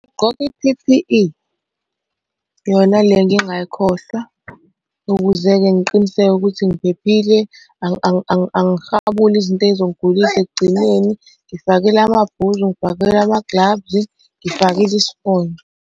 Ugqoke i-P_P_E, yona le ngingayikhohlwa, ukuze-ke ngiqiniseke ukuthi ngiphephile angihabuli izinto ey'zongigulisa ekugcineni. Ngifakile amabhuzu ngifakile amagilavu, ngifakile isifonyo.